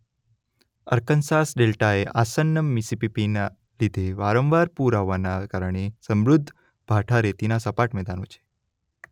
Arkansas ડેલ્ટાએ આસન્ન મીસીસિપીના લીધે વારંવાર પૂર આવવાના કારણે સમૃદ્ધ ભાંઠા રેતીના સપાટ મેદાનો છે.